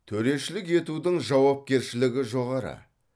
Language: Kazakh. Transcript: төрешілік етудің жауапкершілігі жоғары